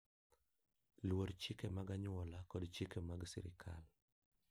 Luor chike mag anyuola kod chike mag sirkal.